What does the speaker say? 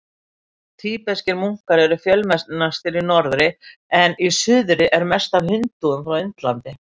Tíbeskir munkar eru fjölmennastir í norðri en í suðri eru mest af hindúum frá Indlandi.